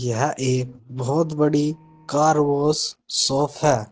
यह एक बहोत बड़ी कार वॉस सॉप है।